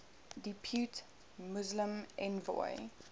depute muslim envoy